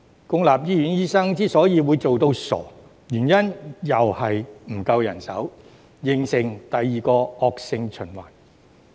公立醫院醫生會"做到傻"的原因仍然是沒有足夠人手，形成第二個惡性循環。